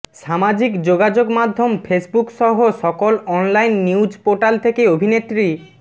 সামাজিক যোগাযোগ মাধ্যম ফেসবুকসহ সকল অনলাইন নিউজ পোর্টাল থেকে অভিনেত্রী